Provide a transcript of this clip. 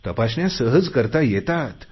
तपासण्या सहज करता येतात